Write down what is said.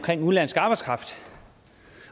udenlandsk arbejdskraft